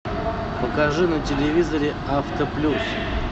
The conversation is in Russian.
покажи на телевизоре авто плюс